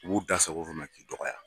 U b'u da sago f'i ma k'i dɔgɔya.